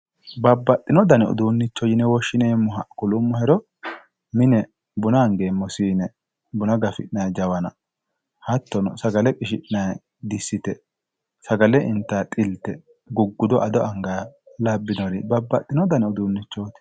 Babbaxino dani uduunnicho yine woshshineemmoha kulummohero mine buna angeemmo siine buna gafi'nayi jawana hattono sagale qishi'nayi dissite sagale intayi xilte guggudo ado angayha labbinoro babbaxxino dani uduunnichooti